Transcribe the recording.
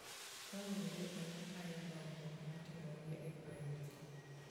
Taonde ema tayo dongruok matimore e gwenge.